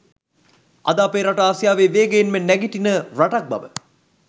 අද අපේ රට ආසියාවේ වේගයෙන්ම නැගිටින රටක් බව